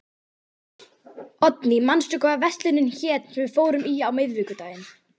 Oddný, manstu hvað verslunin hét sem við fórum í á miðvikudaginn?